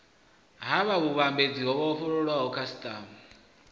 ha vhuvhambadzi ho vhofholowaho khasiṱama